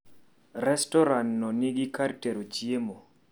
Restoranno nigi kar tero chiemo